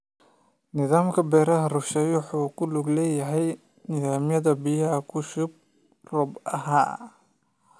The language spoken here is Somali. Nidaamka waraabka rusheeyuhu wuxuu ku lug leeyahay nidaamyada biyaha ku shuba roob ahaan.